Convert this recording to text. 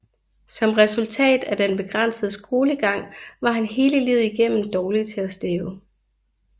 Som resultat af den begrænsede skolegang var han hele livet igennem dårlig til at stave